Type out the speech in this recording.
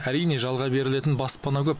әрине жалға берілетін баспана көп